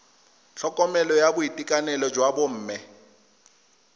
tlhokomelo ya boitekanelo jwa bomme